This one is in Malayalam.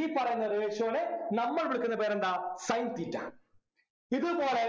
ഈ പറയുന്ന ratio നെ നമ്മൾ വിളിക്കുന്ന പേരെന്താ sin theta ഇതുപോലെ